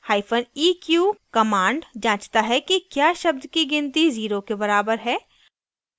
hyphen eq command जाँचता है कि क्या शब्द की गिनती zero के बराबर है